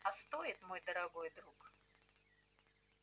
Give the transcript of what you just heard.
а стоит мой дорогой друг